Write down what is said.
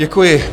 Děkuji.